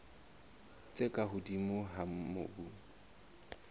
tse ka hodimo tsa mobu